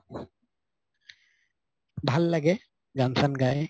ভাল লাগে গান চান গাই